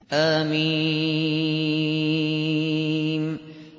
حم